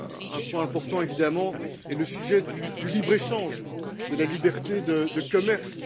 Un point important est évidemment le sujet du libre échange, de la liberté de commerce.